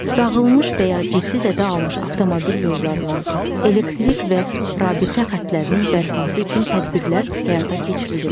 Dağılmış və ya ciddi zədə almış avtomobil yollarının, elektrik və rabitə xəttlərinin bərpası üçün tədbirlər həyata keçirilir.